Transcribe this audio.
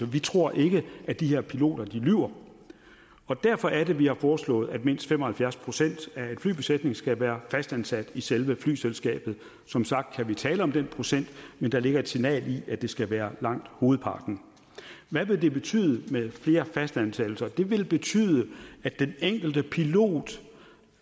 vi tror ikke at de her piloter lyver og derfor er det vi har foreslået at mindst fem og halvfjerds procent af en flybesætning skal være fastansat i selve flyselskabet som sagt kan vi tale om den procent men der ligger et signal i at det skal være langt hovedparten hvad vil det betyde med flere fastansættelser det vil betyde at den enkelte pilot